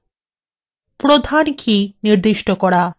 প্রধান কী নির্দিষ্ট করা